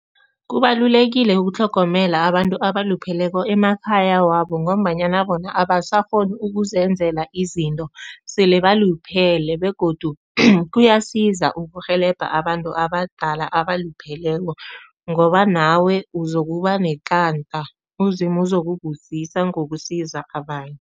Kubalulekile ukutlhogomela abantu abalupheleko emakhaya wabo ngombanyana bona abasakghoni ukuzenzela izinto, sele baluphele begodu kuyasiza ukurhelebha abantu abadala abalupheleko ngoba nawe uzokuba uZimu uzokubusisa ngokusiza abanye.